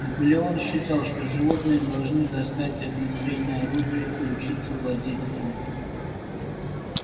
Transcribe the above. наполеон считал что животные должны достать огнестрельное оружие и учиться владеть им